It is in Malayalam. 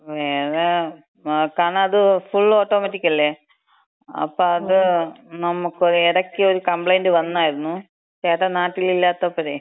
വേറെ നോക്കാന്ന്, അത് ഫുൾ ഓട്ടോമാറ്റിക് അല്ലേ, അപ്പം അത് നമ്മക്ക് എടയ്ക്കൊരു കബ്ലൈന്‍റ് വന്നായിരുന്നു. ചേട്ടൻ നാട്ടിലില്ലാത്തപ്പഴേ.